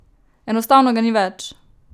Enostavno ga ni več!